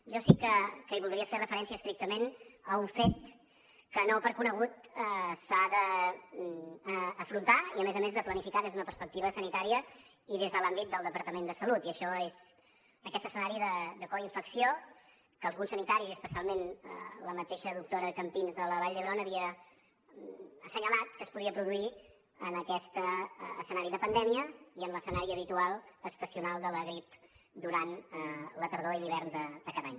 jo sí que voldria fer referència estrictament a un fet que no per conegut s’ha d’afrontar i a més a més de planificar des d’una perspectiva sanitària i des de l’àmbit del departament de salut i això és aquest escenari de coinfecció que alguns sanitaris i especialment la mateixa doctora campins de la vall d’hebron havien assenyalat que es podia produir en aquest escenari de pandèmia i en l’escenari habitual estacional de la grip durant la tardor i l’hivern de cada any